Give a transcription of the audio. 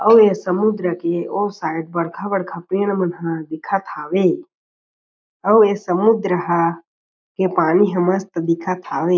अउ ए समुद्र के और शायद बड़खा-बड़खा पेड़ मन ह दिखत हवे अउ ए समुद्र ह के पानी ह मस्त दिखत हवे ।